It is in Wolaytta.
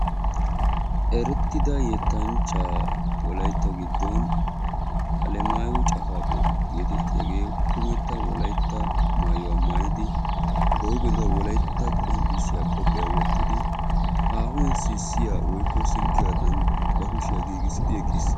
erettida yetanchcha wolaytta giddon kummetta wolaytta qonccissiya maayuwa maayidi sitti giidi eqqiis. hhegaa xalaala gidennan ikka qassi beettees.